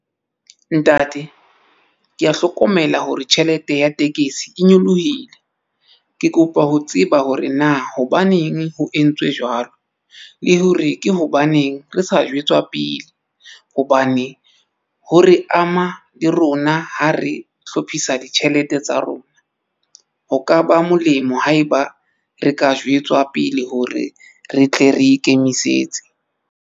Ntate ke ya hlokomela hore tjhelete ya tekesi e nyolohile. Ke kopa ho tseba hore na hobaneng ho entswe jwalo le hore ke hobaneng re sa jwetswa pele. Hobane ho re ama le rona ha re hlophisa ditjhelete tsa rona ho ka ba molemo haeba re ka jwetswa pele hore re tle re ikemisetse.